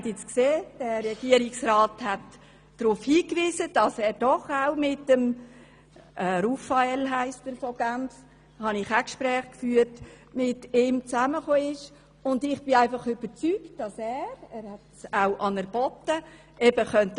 Der Regierungsrat hat jetzt darauf hingewiesen, dass er eben doch auch mit Herrn Rufael aus Genf zusammengekommen ist – ich habe ebenfalls Gespräche mit ihm geführt –, und ich bin überzeugt, dass er etwas bewirken könnte.